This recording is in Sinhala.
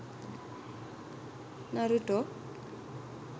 naruto